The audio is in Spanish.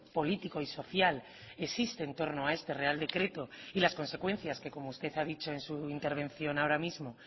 político y social existe en torno a este real decreto y las consecuencias que como usted ha dicho en su intervención ahora mismo